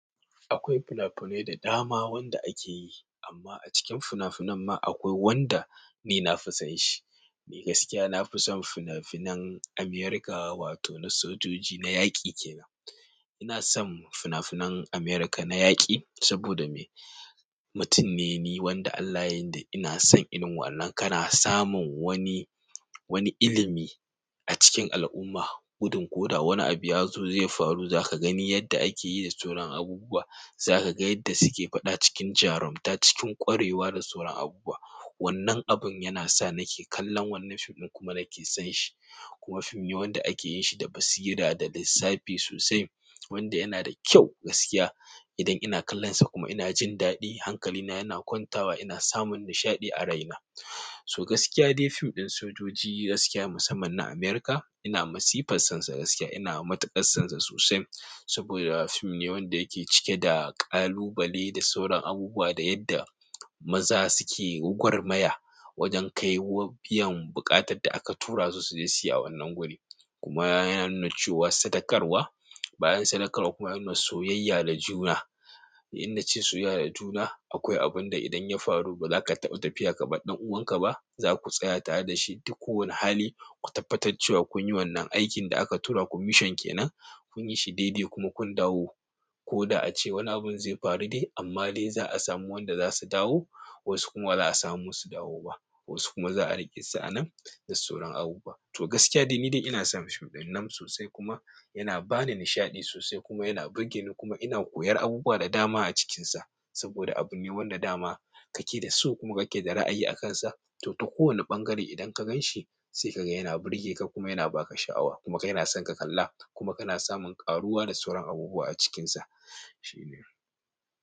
Akwai fina-finai da dama wanda ake yi amma a cikin fina-finan ma akwai wanda ni na fi son shi. Ni gaskiya na fi son fina-finan America wato na sojoji na yaƙi ke nan. Ina son fina-finan America na yaƙi saboda me mutum ne wanda Allah yayi ni da ina son inu wannan kana samun wani, wani ilimi a cikin al'umma. Gudun ko da wani abu ya zo zai faru za ka gani yadda ake yi da sauran abubuwa. Za ka ga yadda suke faɗa cikin jarumta, cikin ƙwarewa da sauran abubuwa. Wannan abun yana sa nake kallon wannan fim ɗin kuma nake son shi. Kuma fim ne wanda ake yin shi da basira da lissafi sosai wanda yana da kyau gaskiya. Idan ina kallonsa kuma ina jin daɗi, hankalina yana kwantawa ina samun nishaɗi a raina. So gaskiya dai fim ɗin sojoji gaskiya musamman na America ina masifan son sa gaskiya ina matuƙar son sa sosai saboda fim ne wanda yake cike da ƙalubale da sauran abubuwa da yadda maza suke gwagwar maya wajen kaiwa biyan buƙatar da aka tura su su je su yi a wannan guri. Kuma yana nuna cewa sadakarwa bayan sadakarwa kuma yana nuna soyaya da juna in na ce soyayya da juna akwai abun da idan ya faru ba za ka taɓa tafiya ka ba ɗan uwanka ba. Za ku tsaya tare da shi duk kowane hali ku tabbatar cewa kun yi wannan aikin da aka tura ku mission ke nan kun yi shi daidai kuma kun dawo. Ko da ace wani abun zai faru dai amma dai za a samu wanda za su dawo wasu kuma ba a samu su dawo ba wasu kuma za a riƙe su a nan da sauran abubuwa. To gaskiya dai ni dai ina son fim ɗin nan sosai kuma yana ba ni nishaɗi sosai kuma yana burge ni kuma ina koyar abubuwa da dama a cikinsa saboda abu ne wanda dama kake da so kuma kake da ra'ayi akansa. To, ta kowane ɓangare idan ka gan shi sai ka ga yana burge ka kuma yana ba ka sha'awa kuma ka yana son ka kalla kuma kana samun ƙaruwa da sauran abubuwa a cikinsa. Shi ne.